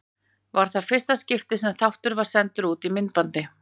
Var það í fyrsta skipti sem þáttur var sendur út á myndbandi.